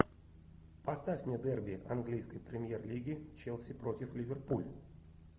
поставь мне дерби английской премьер лиги челси против ливерпуль